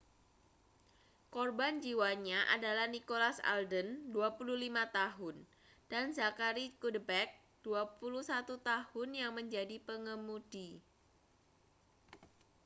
korban jiwanya adalah nicholas alden 25 tahun dan zachary cuddeback 21 tahun yang menjadi pengemudi